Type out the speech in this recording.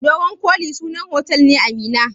Dogon koli sunan otal ne a Minna.